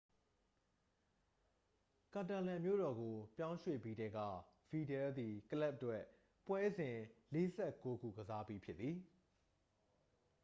ကာတာလန်မြို့တော်ကို ပြောင်းရွှေ့ပြီးထဲက ဗီဒလ်သည် ကလပ်အတွက် ပွဲစဉ် 49 ခု ကစားပြီးဖြစ်သည်